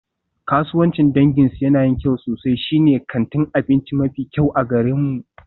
Kasuwancin danginsu yana yin kyau sosai, shine kantin abinci mafi kyau a garinmu.